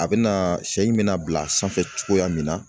A bɛna sɛ in bɛna bila sanfɛ cogoya min na